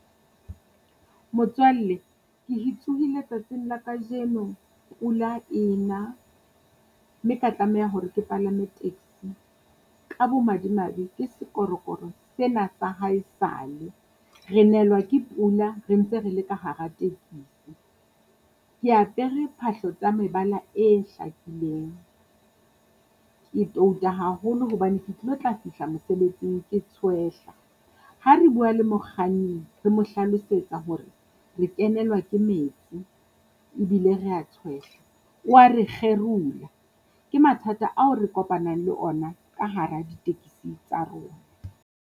Motswalle ke he tsohile tsatsing la kajeno pula ena mme ka tlameha hore ke palame taxi. Ka bomadimabe ke sekorokoro sena sa haesale. Re nelwa ke pula re ntse re le ka hara tekisi. Ke apere phahlo tsa mebala e hlakileng ke touta haholo hobane ke tlilo tla fihla mosebetsing ke tshwehla. Ha re bua le mokganni, re mo hlalosetsa hore re kenelwa ke metsi ebile rea tshwehla, o wa re kgerola. Ke mathata ao re kopanang le ona ka hara di-taxi tsa rona.